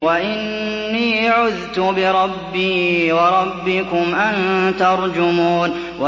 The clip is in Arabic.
وَإِنِّي عُذْتُ بِرَبِّي وَرَبِّكُمْ أَن تَرْجُمُونِ